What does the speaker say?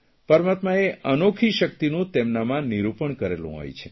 પરમાત્માએ એક અનોખી શકિતનું તેમનામાં નિરૂપણ કરેલું હોય છે